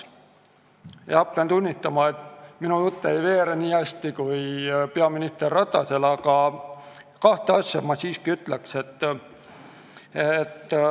Pean tunnistama, et minu jutt ei veere nii hästi kui peaminister Ratasel, aga kahte asja ma siiski ütleks.